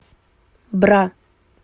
бра